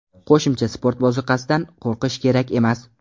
Qo‘shimcha sport ozuqasidan qo‘rqish kerak emas.